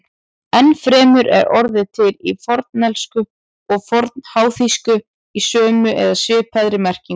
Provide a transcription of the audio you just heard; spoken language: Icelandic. Enn fremur er orðið til í fornensku og fornháþýsku í sömu eða svipaðri merkingu.